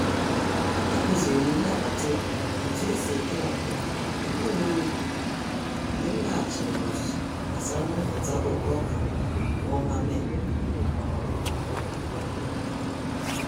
A Kụzirim ndị agbata obi m otu esi kewapụ mkpụrụ n’ubi mgbe m laghachiri n'ọzụzụ gbasara mmepụta oke oka n'ọnwa Mee.